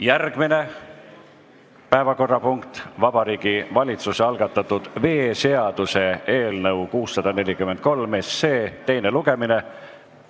Järgmine päevakorrapunkt on Vabariigi Valitsuse algatatud veeseaduse eelnõu 643 teine lugemine.